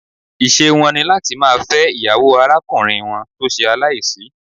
Ìṣe wọn ní láti máa fẹ́ ìyàwó arákùnrin wọn tó ṣe aláìsí.